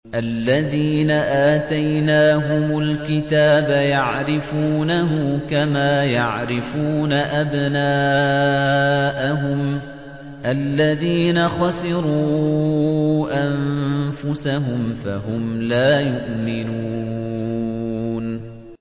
الَّذِينَ آتَيْنَاهُمُ الْكِتَابَ يَعْرِفُونَهُ كَمَا يَعْرِفُونَ أَبْنَاءَهُمُ ۘ الَّذِينَ خَسِرُوا أَنفُسَهُمْ فَهُمْ لَا يُؤْمِنُونَ